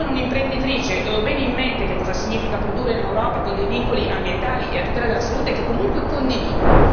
Io sono un'imprenditrice e ho bene in mente che cosa significa produrre in Europa con dei vincoli ambientali e a tutela della salute che comunque condivido.